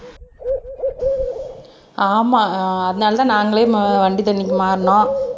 ஆமா அஹ் அதனாலதான் நாங்களே வண்டி தண்ணிக்கு மாறினோம்